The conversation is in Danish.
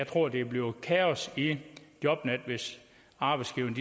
tror der bliver kaos i jobnet hvis arbejdsgiverne